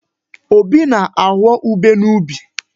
Obi na-aghọ ubé n'ubi.